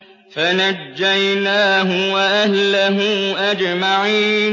فَنَجَّيْنَاهُ وَأَهْلَهُ أَجْمَعِينَ